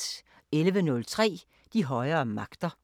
11:03: De højere magter